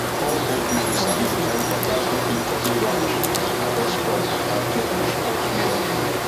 all old people sabi the kind cutlass wey fit cut branch harvest crop and clear bush all together